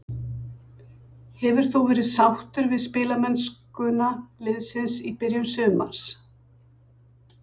Hefur þú verið sáttur við spilamennskuna liðsins í byrjun sumars?